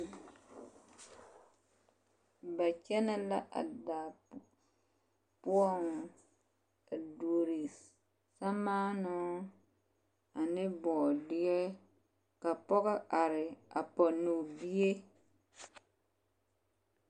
Ba kyɛnɛ la a daa poɔŋ a duori sɛmaanoo ne bɔɔdeɛ ka pɔɡe are a pɔne o bie.